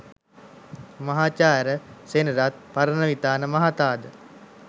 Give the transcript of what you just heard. මහාචාර්ය සෙනරත් පරණවිතාන මහතා ද